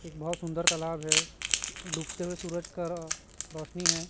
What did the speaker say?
एक बहोत सुंदर तालाब है डूबते हुए सूरज का रोशनी है।